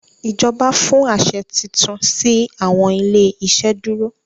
ìjọba fún aṣẹ títún si awọn ilé iṣeduro.